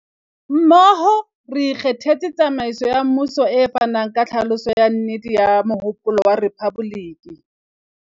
Mmoho, re ikgethetse tsamaiso ya mmuso e fanang ka tlhaloso ya nnete ya mohopolo wa rephaboliki.